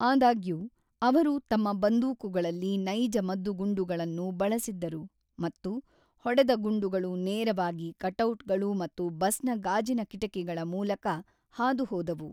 ಆದಾಗ್ಯೂ, ಅವರು ತಮ್ಮ ಬಂದೂಕುಗಳಲ್ಲಿ ನೈಜ ಮದ್ದುಗುಂಡುಗಳನ್ನು ಬಳಸಿದ್ದರು ಮತ್ತು ಹೊಡೆದ ಗುಂಡುಗಳು ನೇರವಾಗಿ ಕಟೌಟ್‌ಗಳು ಮತ್ತು ಬಸ್‌ನ ಗಾಜಿನ ಕಿಟಕಿಗಳ ಮೂಲಕ ಹಾದು ಹೋದವು.